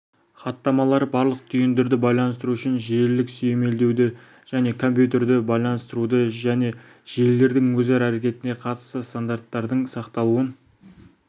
хаттамалары барлық түйіндерді байланыстыру үшін желілік сүйемелдеуді және компьютерді байланыстыруды және желілердің өзара әрекетіне қатысты стандарттардың сақталуын